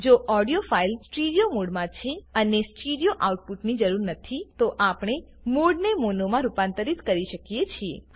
જો audio file stereo મોડમાં છે અને સ્ટીરીઓ આઉટપુટની જરૂર નથી તો આપણે મોડને મોનોમાં રૂપાંતરિત કરી શકીએ છીએ